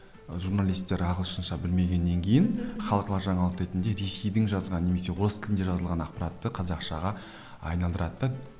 журналистер ағылшынша білмегеннен кейін халықаралық жаңалық ретінде ресейдің жазған немесе орыс тілінде жазылған ақпаратты қазақшаға айналдырады да